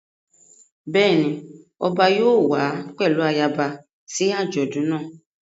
Bẹ́ẹ̀ ni ọba yóò wá pẹ̀lú ayaba sí àjọ̀dún náà.